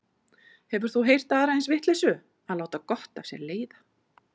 Hefur þú heyrt aðra eins vitleysu, að láta gott af sér leiða.